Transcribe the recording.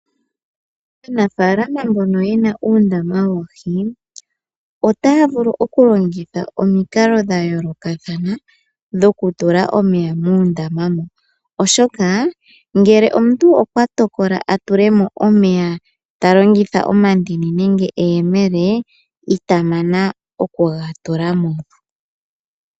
Aanafaalama mbono yena uundama woohi otaya vulu oku longitha omikalo dha yoolokathana dhoku tula omeya muundama moka oshoka ngele omuntu okwa tokola atulemo omeya talongitha omandini nenge eyemele ita mana oku ga tulamo.